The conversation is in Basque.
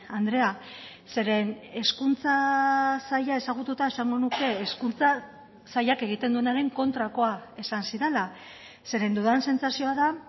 andrea zeren hezkuntza saila ezagututa esango nuke hezkuntza sailak egiten duenaren kontrakoa esan zidala zeren dudan sentsazioa da